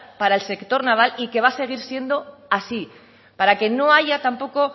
para el sector naval y que va a seguir siendo así para que no haya tampoco